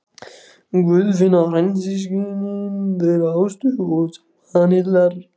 Guðfinna frændsystkin þeirra Ástu og Svanhildar.